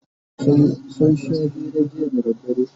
sun Sha hira jiya da dare